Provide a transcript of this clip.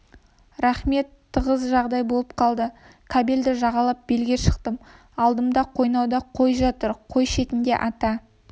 рақмет тығыз жағдай болып қалды кабельді жағалап белге шықтым алдымда қойнауда қой жатыр қой шетінде ата